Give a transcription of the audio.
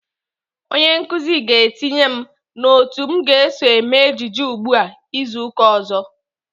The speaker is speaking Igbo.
Onye nkụzi ga-etinye m n'otu m ga-eso eme ejije ugbu a izu uka ọzọ.